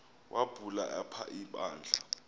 wubhale apha ibandla